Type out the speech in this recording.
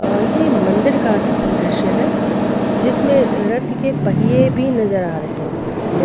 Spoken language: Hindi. ये मंदिर का दृश्य है जिसमें रथ के पहिए भी नजर आ रहे हैं.